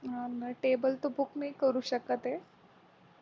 हा ना टेबल तर book नाही करू शकत आहे